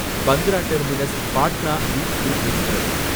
Bandra terminus Patna weekly express